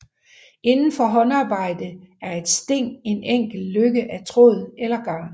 Inden for håndarbejde er et sting en enkel løkke af tråd eller garn